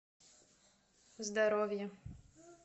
здоровье